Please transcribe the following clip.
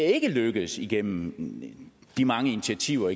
ikke er lykkedes igennem de mange initiativer og